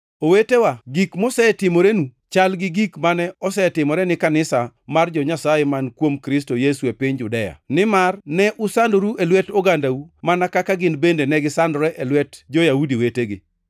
Owetewa, gik mosetimorenu chal gi gik mane osetimore ni kanisa mar jo-Nyasaye man kuom Kristo Yesu e piny Judea, nimar ne usandoru e lwet ogandau mana kaka gin bende negisandore e lwet jo-Yahudi wetegi.